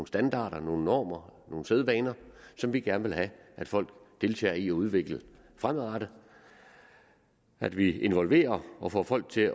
standarder nogle normer nogle sædvaner som vi gerne vil have at folk deltager i at udvikle fremadrettet at vi involverer og får folk til